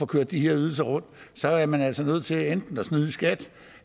køre de her ydelser rundt så er man altså nødt til enten at snyde i skat